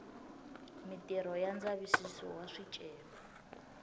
mitirho ya ndzavisiso wa swicelwa